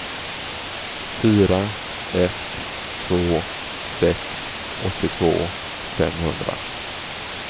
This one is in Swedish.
fyra ett två sex åttiotvå femhundra